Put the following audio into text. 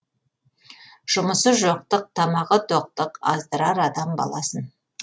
жұмысы жоқтық тамағы тоқтық аздырар адам баласын